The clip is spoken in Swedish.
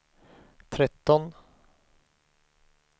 tretton